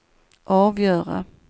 avgöra